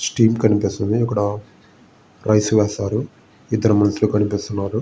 Steam కనిపిస్తుంది. ఇక్కడ rice వేశారు. ఇద్ధరు మనుషులు కనిపిస్తున్నారు.